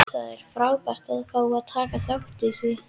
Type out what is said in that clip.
Það er frábært að fá að taka þátt í því.